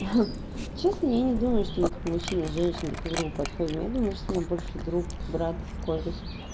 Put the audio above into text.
честно я не думаю что мы как мужчина и женщина друг другу подходим я думаю что мне больше друг брат кореш